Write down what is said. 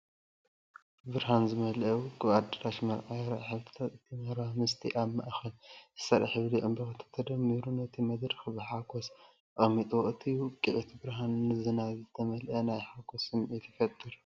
ብብርሃን ዝተመልአ ውቁብ ኣዳራሽ መርዓ ይርአ። ሕብርታት እቲ መረባ ምስቲ ኣብ ማእከል ዝተሰርዐ ሕብሪ ዕምባባታት ተደሚሩ ነቲ መድረኽ ብሓጎስ ኣቐሚጥዎ። እቲ ውቂዒት ብርሃንን ዝናብ ዝተመልአ ናይ ሓጎስ ስምዒት ይፈጥር።